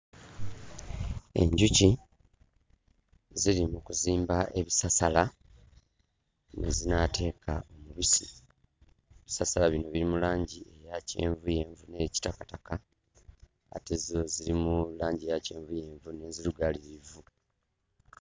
Enjuki ziri mu kuzimba ebisasala mwe zinaateeka omubisi. Ebisasala bino biri mu langi eya kyenvuyenvu ne kitakataka. Ate zo ziri mu langi eya kyenvuyenvu n'enzirugalirivu.